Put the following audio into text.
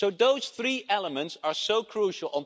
So those three elements are crucial.